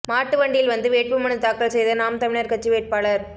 மாட்டுவண்டியில் வந்து வேட்புமனு தாக்கல் செய்த நாம் தமிழர் கட்சி வேட்பாளர்